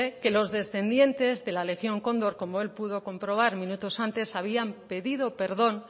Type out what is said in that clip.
que los descendientes de la legión cóndor como él pudo comprobar minutos antes habían pedido perdón